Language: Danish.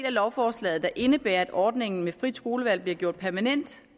af lovforslaget der indebærer at ordningen med frit skolevalg bliver gjort permanent